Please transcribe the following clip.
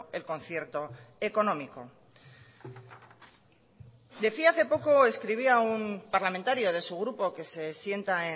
el concierto económico decía hace poco escribía un parlamentario de su grupo que se sienta